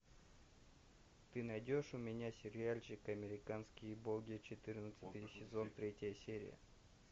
ты найдешь у меня сериальчик американские боги четырнадцатый сезон третья серия